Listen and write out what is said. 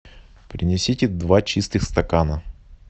принесите два чистых стакана